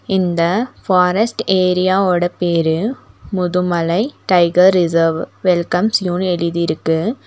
இந்த forest area ஓட பேரு முதுமலை டைகர் ரிசர்வ் வெல்கம்ஸ் யூனு எழுதிருக்கு.